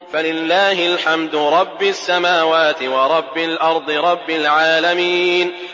فَلِلَّهِ الْحَمْدُ رَبِّ السَّمَاوَاتِ وَرَبِّ الْأَرْضِ رَبِّ الْعَالَمِينَ